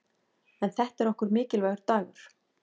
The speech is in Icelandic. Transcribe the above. En þetta er okkur mikilvægur dagur.